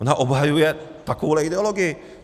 Ona obhajuje takovouhle ideologii.